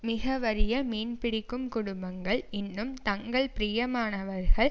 மிக வறிய மீன் பிடிக்கும் குடும்பங்கள் இன்னும் தங்கள் பிரியமானவர்கள்